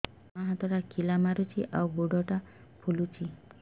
ମୋ ବାଆଁ ହାତଟା ଖିଲା ମାରୁଚି ଆଉ ଗୁଡ଼ ଟା ଫୁଲୁଚି